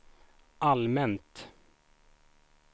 allmänt